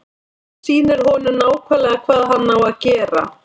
Sýnir honum nákvæmlega hvað hann á að gera.